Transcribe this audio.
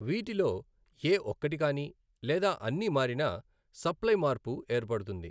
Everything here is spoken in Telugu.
వీటిలో ఏ ఒక్కటి కాని లేదా అన్నీ మారినా సప్లయ్ మార్పు ఏర్పడుతుంది.